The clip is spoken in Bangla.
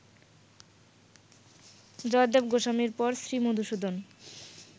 জয়দেব গোস্বামীর পর শ্রীমধুসূদন